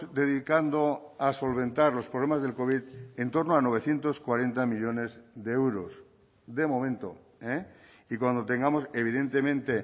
dedicando a solventar los problemas del covid en torno a novecientos cuarenta millónes de euros de momento y cuando tengamos evidentemente